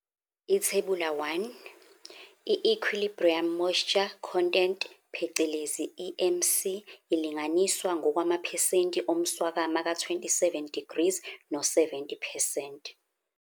Ithebula 1- I-Equilibrium moisture content phecelezi i-EMC, ilinganiswa ngokwamaphesenti omswakama ka27 degrees no70 percent.